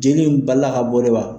Joli in balila kabɔ de wa.